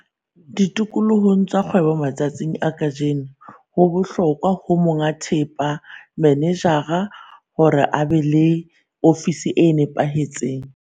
Tikolohong ya kgwebo matsatsing a kajeno, ho bohlokwa ho monga thepa, manejara hore a be le ofisi e nepahetseng.